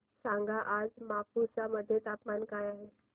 सांगा आज मापुसा मध्ये तापमान काय आहे